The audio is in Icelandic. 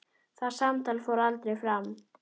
Það samtal fór aldrei fram.